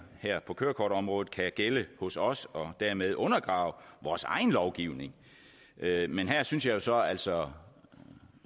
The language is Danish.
her på kørekortområdet kan gælde hos os og dermed undergrave vores egen lovgivning men her synes jeg jo så altså